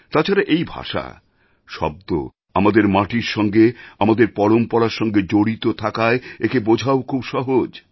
তাছাড়া এই ভাষা শব্দ আমাদের মাটির সঙ্গে আমাদের পরম্পরার সঙ্গে জড়িত থাকায় একে বোঝাও খুব সহজ